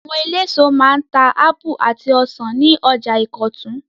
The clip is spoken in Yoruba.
Àwọn eléso máa ń ta ápù àti ọsàn ní ọjà Ìkọ̀tún.